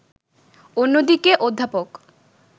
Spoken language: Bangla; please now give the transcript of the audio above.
অন্যদিকে অধ্যাপক